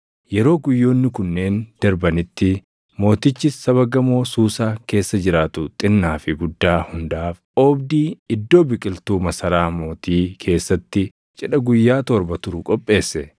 Yeroo guyyoonni kunneen darbanitti mootichi saba gamoo Suusaa keessa jiraatu xinnaa fi guddaa hundaaf oobdii iddoo biqiltuu masaraa mootii keessatti cidha guyyaa torba turu qopheesse.